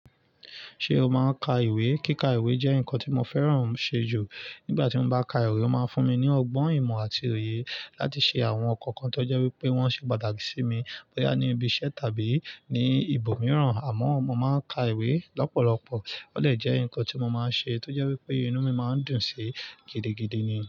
Ṣé o máa ń ka ìwé? Kíka ìwé jẹ́ nǹkan tí mo fẹ́ràn ṣe jù. Nígbà tí mo bá ka ìwé, ó máa ń fún mi ní ọgbọ́n ìmọ̀ àti òyè láti ṣe àwọn ǹkan kan tó jẹ́ wípé wọ́n ṣe pàtàkì sí mi bóyá ní ibi iṣẹ́ tàbí ní ibòmíràn. Àmọ́ mo máa ń ka ìwé lọ́pọ̀lọpọ̀. Ó dè jẹ́ ǹkan tí mo máa ń ṣe tó jẹ́ wípé inú mi máa ń dùn sí gidigidi ni.